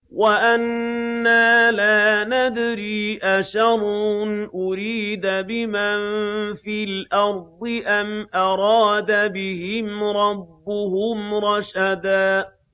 وَأَنَّا لَا نَدْرِي أَشَرٌّ أُرِيدَ بِمَن فِي الْأَرْضِ أَمْ أَرَادَ بِهِمْ رَبُّهُمْ رَشَدًا